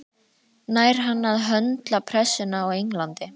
Nær hann að höndla pressuna á Englandi?